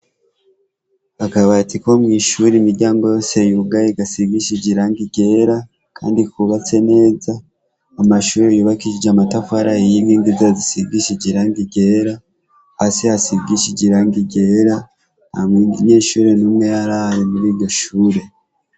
Akabati ko mw'ishure imiryango yose yugaye gasigishije irangi ryera kandi kubatse neza, amashure yubakishije amatafari ahiye n'imeza zisigishije iranga ryera, hasi hasigishije iranga ryera, nta munyeshure n'umwe yarari muri iryo shure.